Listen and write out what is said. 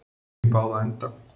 Opinn í báða enda